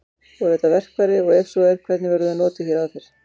Voru þetta verkfæri og ef svo er hvernig voru þau notuð hér áður fyrr?